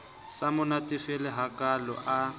sa mo natefele hakalo a